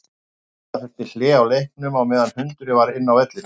Gera þurfti hlé á leiknum á meðan hundurinn var inn á vellinum.